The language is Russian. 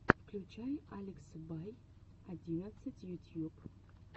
включай алекса бай одиннадцать ютьюб